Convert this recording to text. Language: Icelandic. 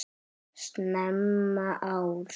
Snemma árs